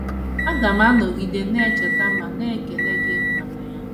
Aga m anọgide na - echeta ma na - ekele gị maka ya.